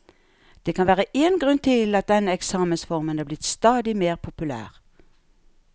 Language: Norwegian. Det kan være én grunn til at denne eksamensformen er blitt stadig mer populær.